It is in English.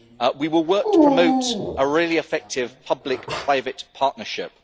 We will work to promote a really effective public-private partnership.